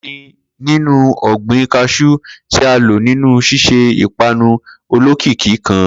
Kini ninu ọgbin cashew ti a lo ninu ṣiṣe ipanu olokiki kan?